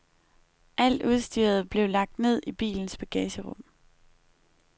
Alt udstyret blev lagt ned i bilens bagagerum.